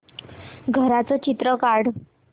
घराचं चित्र काढ